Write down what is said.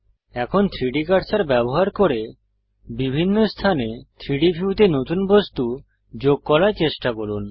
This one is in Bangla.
এখন 3ডি কার্সার ব্যবহার করে বিভিন্ন স্থানে 3ডি ভিউতে নতুন বস্তু যোগ করার চেষ্টা করুন